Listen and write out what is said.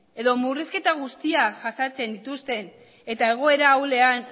edo murrizketa guztiak jasaten dituzten eta egoera ahulean